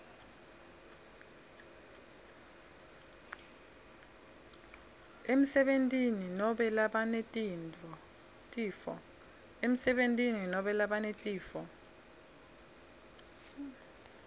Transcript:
emsebentini nobe labanetifo